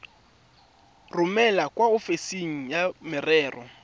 romele kwa ofising ya merero